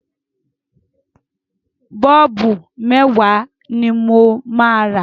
Bọ́ọ̀bù mẹ́wàá ni mo máa rà.